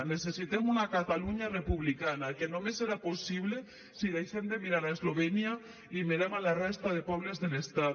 necessitem una catalunya republicana que només serà possible si deixem de mirar a eslovènia i mirem a la resta de pobles de l’estat